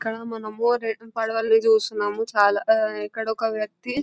ఇక్కడ మనము రెండు పేడవాలని చూస్తున్నాము చాలా ఇక్కడ ఒక వ్యక్తి --